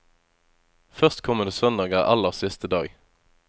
Førstkommende søndag er aller siste dag.